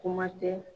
Kuma tɛ